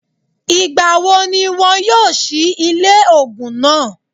Ìgbà wo ni wọn yóò sí ilé ògùn náà?